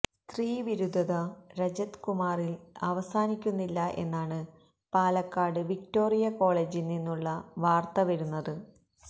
സ്ത്രീവിരുദ്ധത രജത് കുമാറിൽ അവസാനിക്കുന്നില്ല എന്നാണ് പാലക്കാട് വിക്ടോറിയ കോളേജിൽ നിന്നുള്ള വാർത്ത വരുന്നത്